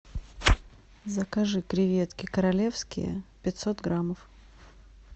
закажи креветки королевские пятьсот граммов